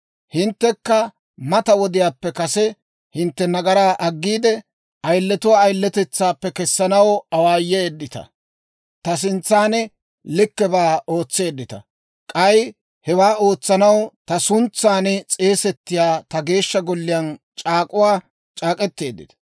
Hinttekka mata wodiyaappe kase hintte nagaraa aggiide, ayiletuwaa ayiletetsaappe kessanaw awaayeeddita; ta sintsan likkebaa ootseeddita. K'ay hewaa ootsanaw ta sintsan, ta suntsay s'eesettiyaa ta Geeshsha Golliyaan c'aak'uwaa c'aak'k'eteeddita.